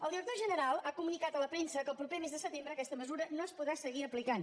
el director general ha comunicat a la premsa que el proper mes de setembre aquesta mesura no es podrà seguir aplicant